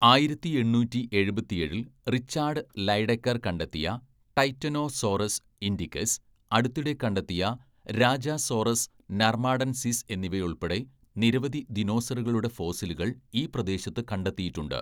ആയിരത്തി എണ്ണൂറ്റി എഴുപത്തിയേഴില്‍ റിച്ചാർഡ് ലൈഡെക്കർ കണ്ടെത്തിയ ടൈറ്റനോസോറസ് ഇൻഡിക്കസ്, അടുത്തിടെ കണ്ടെത്തിയ രാജസോറസ് നർമാഡൻസിസ് എന്നിവയുൾപ്പെടെ നിരവധി ദിനോസറുകളുടെ ഫോസിലുകൾ ഈ പ്രദേശത്ത് കണ്ടെത്തിയിട്ടുണ്ട്.